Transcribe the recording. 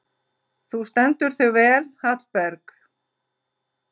Þú stendur þig vel, Hallberg!